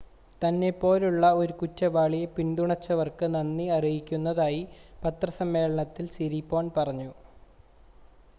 തന്നെ പോലുള്ള ഒരു കുറ്റവാളിയെ പിന്തുണച്ചവർക്ക് നന്ദി അറിയിക്കുന്നതായി പത്രസമ്മേളനത്തിൽ സിരിപോൺ പറഞ്ഞു